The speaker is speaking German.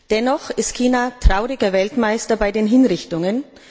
Dennoch ist China trauriger Weltmeister bei den Hinrichtungen.